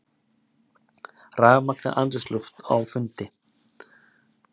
Rafmagnað andrúmsloft á fundi